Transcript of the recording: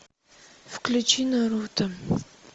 включи наруто